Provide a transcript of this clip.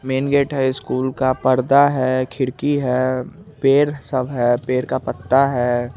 Man gate है school का परदा है खिड़की है पेड़ सब है पेड़ का पत्ता है।